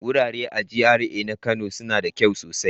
Wurare a GRA na Kano suna da kyau sosai.